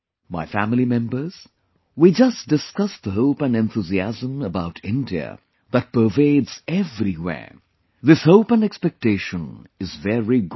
My family members, we just discussed the hope and enthusiasm about India that pervades everywhere this hope and expectation is very good